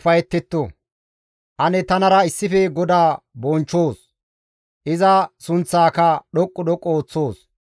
Ane tanara issife GODAA bonchchoos; iza sunththaaka dhoqqu dhoqqu ooththoos.